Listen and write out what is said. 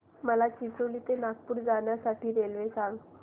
मला चिचोली ते नागपूर जाण्या साठी रेल्वे सांगा